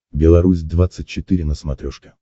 белорусь двадцать четыре на смотрешке